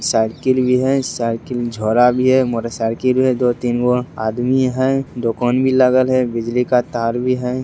साइकिल भी है साइकिल झोला भी है मोटरसाइकिल है दो-तीनगो आदमी है दोकान भी लगल है बिजली का तार भी है।